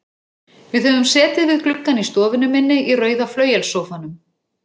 Við höfum setið við gluggann í stofunni minni, í rauða flauelssófanum.